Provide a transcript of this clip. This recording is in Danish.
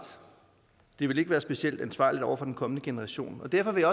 det ville ikke være specielt ansvarligt over for den kommende generation derfor vil